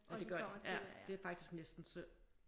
Og det gør de ja det er faktisk næsten synd